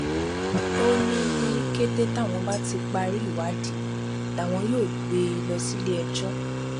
ó ní ní kété táwọn bá ti parí ìwádìí làwọn yóò gbé e lọ síléẹjọ